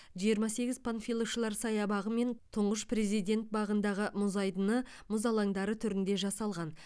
жиырма сегіз панфиловшылар саябағы мен тұңғыш президент бағындағы мұз айдыны мұз алаңдары түрінде жасалған